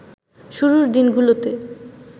শুরুর দিনগুলোতে